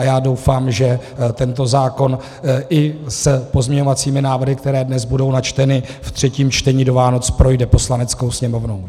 A já doufám, že tento zákon i s pozměňovacími návrhy, které dnes budou načteny ve třetím čtení, do Vánoc projde Poslaneckou sněmovnou.